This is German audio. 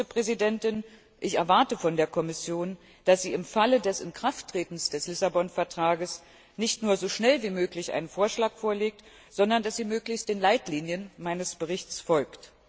Und, Frau Vizepräsidentin, ich erwarte von der Kommission, dass sie im Falle des Inkrafttretens des Lissabon Vertrags nicht nur so schnell wie möglich einen Vorschlag vorlegt, sondern dass sie möglichst den Leitlinien meines Berichts folgt.